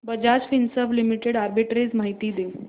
Bajaj Finserv limited arbitrage माहिती दे